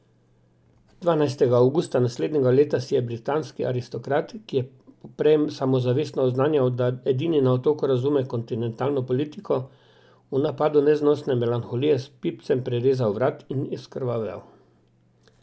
Dvanajstega avgusta naslednjega leta si je britanski aristokrat, ki je poprej samozavestno oznanjal, da edini na Otoku razume kontinentalno politiko, v napadu neznosne melanholije s pipcem prerezal vrat in izkrvavel.